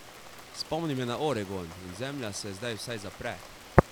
Spomni me na Oregon in zemlja se zdaj vsaj zapre.